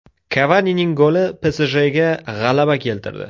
Kavanining goli PSJga g‘alaba keltirdi.